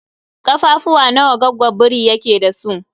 Ƙafafuwa nawa goggon biri yake da su?